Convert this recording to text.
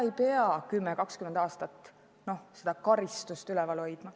Ei pea ju 10–20 aastat seda karistust jõus hoidma.